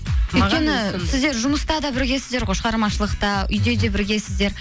өйткені сіздер жұмыста да біргесіздер ғой шығармашылықта үйде де біргесіздер